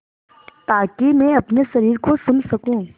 ताकि मैं अपने शरीर को सुन सकूँ